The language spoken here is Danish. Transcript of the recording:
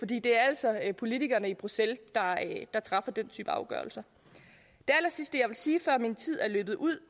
det er altså politikerne i bruxelles der træffer den type afgørelser det allersidste jeg vil sige før min tid løber ud